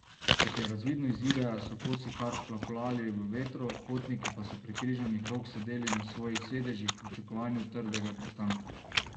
Kot je razvidno iz videa, so kosi kar plapolali v vetru, potniki pa so prekrižanih rok sedeli na svojih sedežih v pričakovanju trdega pristanka.